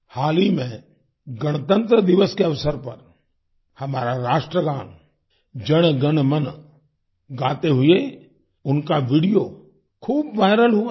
हाल ही में गणतन्त्र दिवस के अवसर पर हमारा राष्ट्रगान जन गण मन गाते हुए उनका वीडियो खूब वायरल हुआ था